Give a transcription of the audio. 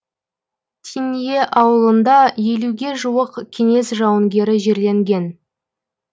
тиннье ауылында елуге жуық кеңес жауынгері жерленген